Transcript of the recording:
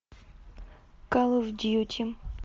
калл оф дьюти